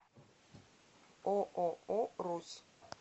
ооо русь